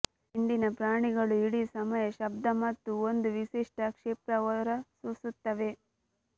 ಹಿಂಡಿನ ಪ್ರಾಣಿಗಳು ಇಡೀ ಸಮಯ ಶಬ್ಧ ಮತ್ತು ಒಂದು ವಿಶಿಷ್ಟ ಕ್ಷಿಪ್ರ ಹೊರಸೂಸುತ್ತವೆ